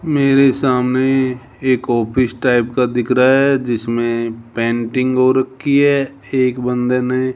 मेरे सामने एक ऑफिस टाइप का दिख रहा है जिसमें पेंटिंग हो रखी है एक बंदे ने --